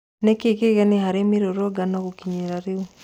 Nĩkĩĩ kĩgeni harĩ mĩrũrũngano gũkinyĩria rĩu?